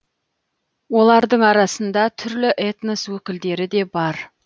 олардың арасында түрлі этнос өкілдері де бар